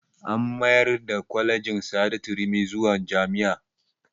An mayar da kwalejin sa'adatu rimi zuwa jami'a